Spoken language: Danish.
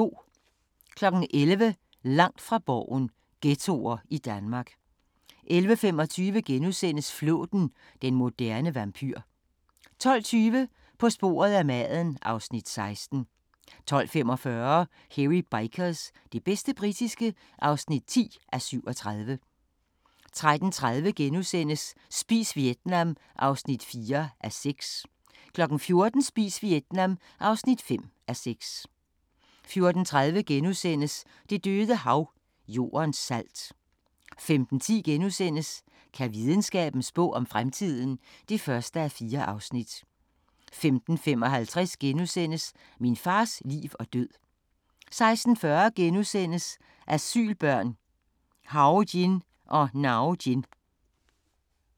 11:00: Langt fra Borgen: Ghettoer i Danmark 11:25: Flåten – den moderne vampyr * 12:20: På sporet af maden (Afs. 16) 12:45: Hairy Bikers – det bedste britiske (10:37) 13:30: Spis Vietnam (4:6)* 14:00: Spis Vietnam (5:6) 14:30: Det Døde Hav – Jordens salt * 15:10: Kan videnskaben spå om fremtiden? (1:4)* 15:55: Min fars liv og død * 16:40: Asylbørn – Hawjin og Nawjin *